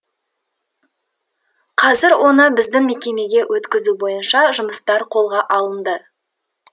қазір оны біздің мекемеге өткізу бойынша жұмыстар қолға алынды